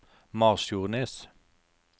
Masfjordnes